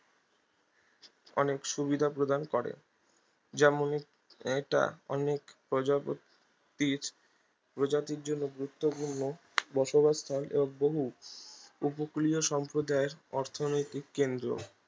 অনেক সুবিধা প্রদান করে যেমন এ এটা অনেক প্রজাপতির প্রজাতির জন্য গুরুত্বপূর্ণ বসবাস স্থান এবং বহু উপকূলীয় সম্প্রদায়ের অর্থনৈতিক কেন্দ্র